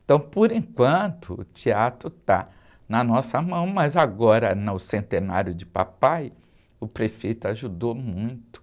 Então, por enquanto, o teatro está na nossa mão, mas agora, no centenário de papai, o prefeito ajudou muito.